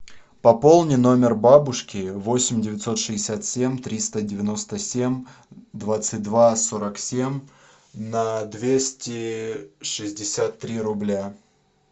пополни номер бабушки восемь девятьсот шестьдесят семь триста девяносто семь двадцать два сорок семь на двести шестьдесят три рубля